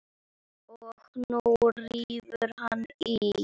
Og nú rífur hann í.